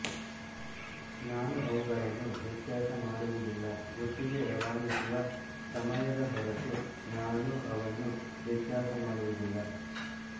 ನಾನು ಅವುಗಳನ್ನು ವ್ಯತ್ಯಾಸ ಮಾಡುವುದಿಲ್ಲ ಒಟ್ಟಿಗೆ ರವಾನಿಸುವ ಸಮಯದ ಹೊರತು ನಾನು ಅವನ್ನು ವ್ಯತ್ಯಾಸ ಮಾಡುವುದಿಲ್ಲ